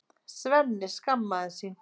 Svenni skammast sín.